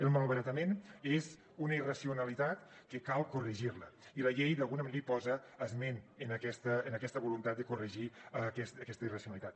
el malbaratament és una irracionalitat que cal corregir la i la llei d’alguna manera hi posa esment en aquesta voluntat de corregir aquesta irracionalitat